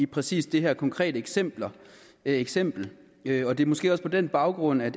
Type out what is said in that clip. præcis det her konkrete eksempel eksempel og det er måske også på den baggrund at